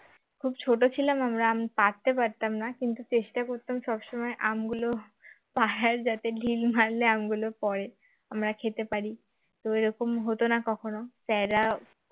খুব ছোট ছিলাম আমরা আম পাড়তে পারতাম না কিন্তু চেষ্টা করতাম সব সময় আমগুলো পাড়ার যাতে ঢিল মারলে আমগুলো পরে আমরা খেতে পারি তো ওই রকম হতো না কখনো sir রা